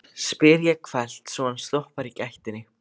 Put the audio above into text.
spyr ég hvellt, svo hann stoppar í gættinni.